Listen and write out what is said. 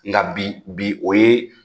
Nka bi bi o ye